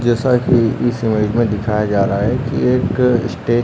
जैसा की इस इमेज में दिखाया जा रहा है की एक स्टेज --